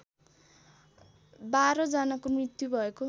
१२ जनाको मृत्यु भएको